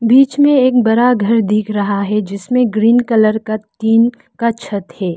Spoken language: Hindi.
बीच में एक बड़ा घर दिख रहा है जिसमें ग्रीन कलर का टीन का छत है।